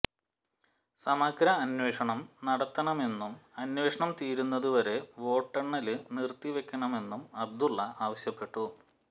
സമഗ്ര അന്വേഷണം നടത്തണമെന്നും അന്വേഷണം തീരുന്നത് വരെ വോട്ടെണ്ണല് നിര്ത്തിവെക്കണമെന്നും അബ്ദുല്ല ആവശ്യപ്പെട്ടു